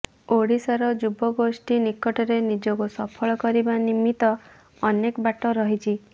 ଓଡ଼ିଶାର ଯୁବଗୋଷ୍ଠୀ ନିକଟରେ ନିଜକୁ ସଫଳ କରିବା ନିମିତ୍ତ ଅନେକ ବାଟ ରହିଛି